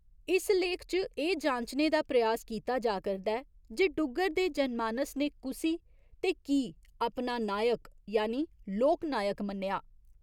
इस लेख च एह् जांचने दा प्रयास कीता जा करदा ऐ जे डुग्गर दे जनमानस ने कुसी ते की अपना नायक यानि लोकनायक मन्नेआ?